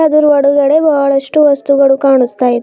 ಇದರ ಹೊರುಗಡೆ ಬಹಳಷ್ಟು ವಸ್ತುಗಳು ಕಾಣುಸ್ತಾ ಇದೆ.